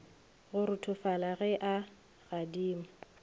go ruthofala ge a gadima